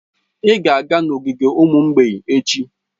Ị ga-aga n'ogige ụmụ mgbei echi.